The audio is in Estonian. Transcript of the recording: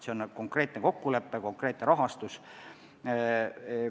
See on olnud konkreetne kokkulepe, konkreetne rahastus.